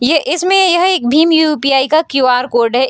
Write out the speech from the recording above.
ये इसमें यह एक भीम यू.पी.आई. का क्यू.आर. कोड है।